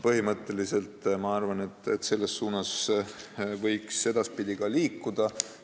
Põhimõtteliselt, ma arvan, võiks selles suunas edaspidi liikuda.